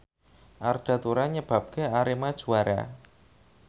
Arda Turan nyebabke Arema juara